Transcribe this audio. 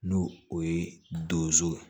N'o o ye donso ye